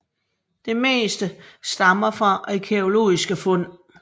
Det meste stammer fra arkæologiske fund